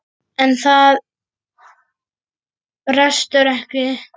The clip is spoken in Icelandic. En það brestur ekki.